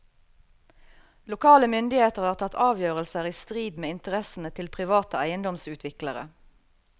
Lokale myndigheter har tatt avgjørelser i strid med interessene til private eiendomsutviklere.